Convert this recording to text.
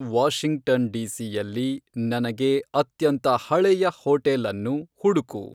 Washington D, C, ಯಲ್ಲಿ ನನಗೆ ಅತ್ಯಂತ ಹಳೆಯ ಹೋಟೆಲ್ ಅನ್ನು ಹುಡುಕು